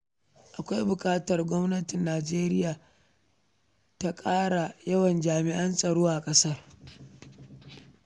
Akwai buƙatar gwamnatin Najeriya ta ƙara yawan jami'an tsaron ƙasar.